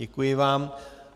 Děkuji vám.